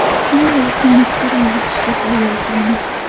Shunday ekan, fikr yuritishga tayyor turamiz.